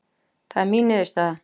Það er mín niðurstaða